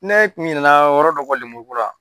Ne tun ɲinɛna yɔrɔ dɔ kɔ lemuru ko la